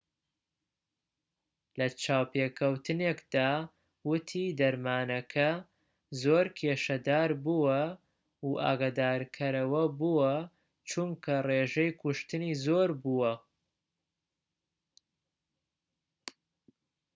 لە چاوپێکەوتنێکدا وتی دەرمانەکە زۆر کێشەداربووە و ئاگادارکەرەوەبووە چونکە ڕێژەی کوشتنی زۆربووە